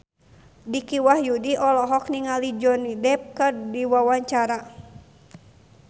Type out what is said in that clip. Dicky Wahyudi olohok ningali Johnny Depp keur diwawancara